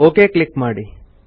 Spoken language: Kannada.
ಒಕ್ ಕ್ಲಿಕ್ ಮಾಡಿ